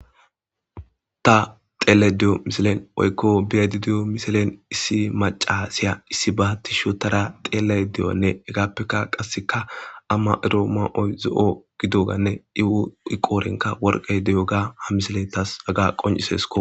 ta xeelashe deyo misilen oykko biyadi diyo misilen issi macasiya issi bahatti shotara xeele deyonne hegaappeka qasseka amma ero ma7oy zo7o gidoganne iwu iqoorenka worqey deyo ga ha misile tas aga qoncisesko